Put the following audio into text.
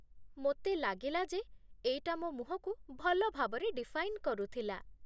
ମୋତେ ଲାଗିଲା ଯେ ଏଇଟା ମୋ ମୁହଁକୁ ଭଲ ଭାବରେ ଡିଫାଇନ୍ କରୁଥିଲା ।